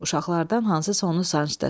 Uşaqlardan hansısa onu sancdı.